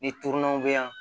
Ni tununanw bɛ yan